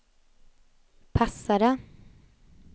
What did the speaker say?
passade